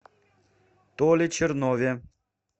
толе чернове